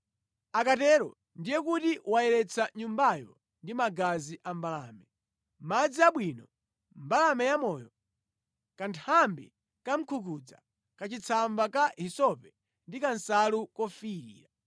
Akatero ndiye kuti wayeretsa nyumbayo ndi magazi a mbalame, madzi abwino, mbalame yamoyo, kanthambi kamkungudza, kachitsamba ka hisope ndi kansalu kofiirira.